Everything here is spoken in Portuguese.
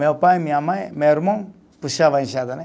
Meu pai, minha mãe, meu irmão puxava a enxada, né.